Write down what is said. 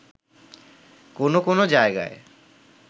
কোনো কোনো জায়গায়